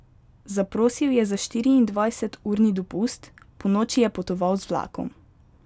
Zaprosil je za štiriindvajseturni dopust, ponoči je potoval z vlakom.